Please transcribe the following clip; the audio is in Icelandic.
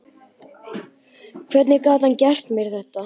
Hvernig gat hann gert mér þetta?